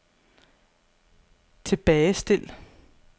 tilbagestil